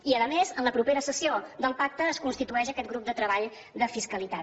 i a més en la propera sessió del pacte es constitueix aquest grup de treball de fiscalitat